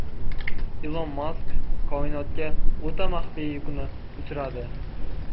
Ilon Mask koinotga o‘ta maxfiy yukni uchiradi.